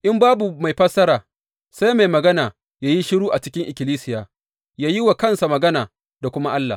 In babu mai fassara, sai mai magana yă yi shiru a cikin ikkilisiya, yă yi wa kansa magana da kuma Allah.